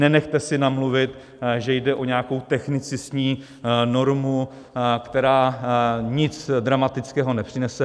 Nenechte si namluvit, že jde o nějakou technicistní normu, která nic dramatického nepřinese.